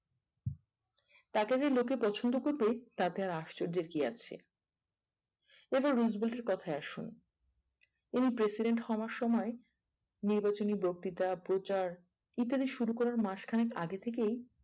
তাকে যে লোকে পছন্দ করবে তাতে আশ্চর্যের কি আছে এবার রুজফ্লেটের কোথায় আসুন ইনি president হওয়ার সময়ে নির্বাচনী বক্তিতা প্রচার ইত্যাদি শুরু করার মাসখানেক আগে থেকেই